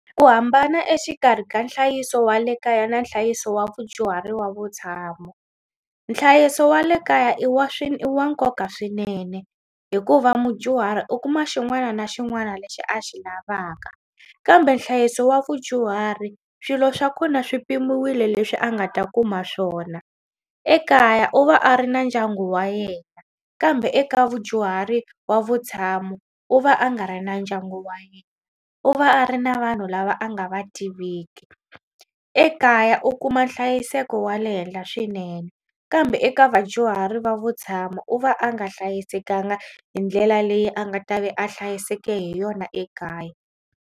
Ku hambana exikarhi ka nhlayiso wa le kaya na nhlayiso wa vudyuhari wa vutshamo nhlayiso wa le kaya i wa swi i wa nkoka swinene hikuva mudyuhari u kuma xin'wana na xin'wana lexi a xi lavaka kambe nhlayiso wa vudyuhari swilo swa kona swi pimiwile leswi a nga ta kuma swona. Ekaya u va a ri na ndyangu wa yena kambe eka vudyuhari wa vutshamo u va a nga ri na ndyangu wa yena u va a ri na vanhu lava a nga va tiviki. Ekaya u kuma nhlayiseko wa le henhla swinene kambe eka vadyuhari va vutshamo u va a nga hlayisekanga hi ndlela leyi a nga ta vi a hlayiseke hi yona ekaya.